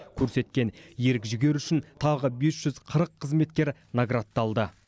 көрсеткен ерік жігері үшін тағы бес жүз қырық қызметкер наградталды